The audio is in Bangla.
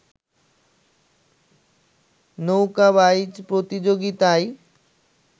নৌকা বাইচ প্রতিযোগিতায়